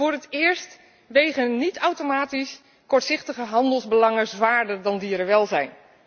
Voor het eerst wegen niet automatisch kortzichtige handelsbelangen zwaarder dan dierenwelzijn.